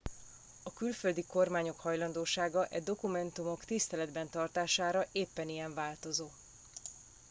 a külföldi kormányok hajlandósága e dokumentumok tiszteletben tartására éppen ilyen változó